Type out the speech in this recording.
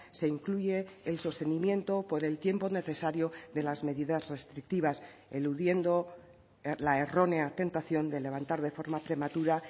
se incluye el sostenimiento por el tiempo necesario de las medidas restrictivas eludiendo la errónea tentación de levantar de forma prematura